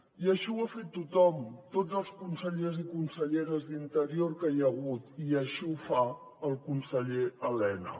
i això ho ha fet tothom tots els consellers i conselleres d’interior que hi ha hagut i així ho fa el conseller elena